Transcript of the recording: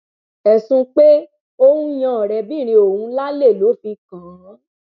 ẹsùn pé ó ń yan ọrẹbìnrin òun lálè ló fi kànán